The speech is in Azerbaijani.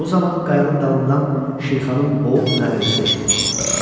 Bu zaman qayanın dalından Şirxanın boğuq nəriltisi eşidildi.